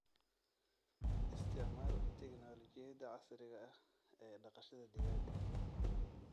Isticmaal tignoolajiyada casriga ah ee dhaqashada digaaga.